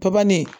Papa ne ye